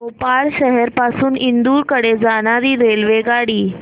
भोपाळ शहर पासून इंदूर कडे जाणारी रेल्वेगाडी